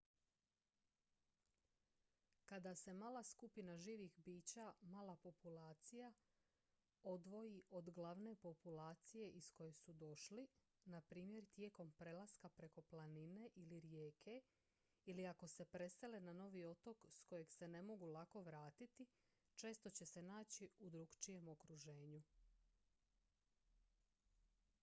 kada se mala skupina živih bića mala populacija odvoji od glavne populacije iz koje su došli na primjer tijekom prelaska preko planine ili rijeke ili ako se presele na novi otok s kojeg se ne mogu lako vratiti često će se naći u drukčijem okruženju